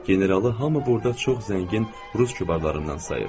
Generalı hamı burda çox zəngin rus kübarlarından sayır.